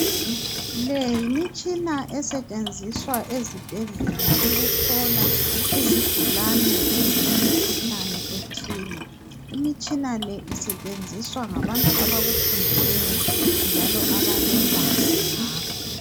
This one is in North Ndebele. Le yimitshina esetshenziswa ezibhedlela ukuhlola izigulane ezilemikhuhlane ethile. Imitshina le isetshenziswa ngabantu abakufundeleyo njalo abalolwazi ngakho.